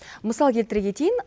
мысал келтіре кетейін